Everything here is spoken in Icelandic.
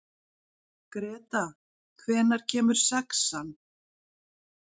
Greta, hvenær kemur sexan?